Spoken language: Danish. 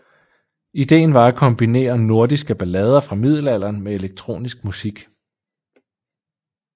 Ideen var at kombinere nordiske ballader fra middelalderen med elektronisk musik